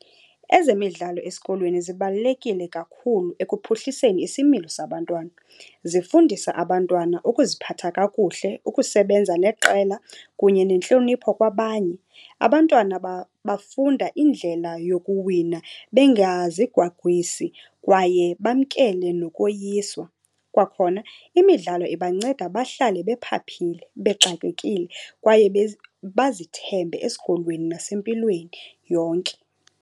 Ezemidlalo esikolweni zibalulekile kakhulu ekuphuhliseni isimilo sabantwana. Zifundisa abantwana ukuziphatha kakuhle, ukusebenza neqela kunye nentlonipho kwabanye. Abantwana bafunda indlela yokuwina bengazigwagwisi kwaye bamkele nokoyiswa. Kwakhona imidlalo ibanceda bahlale bephaphile, bexakekile kwaye bazithembe esikolweni nasempilweni yonke.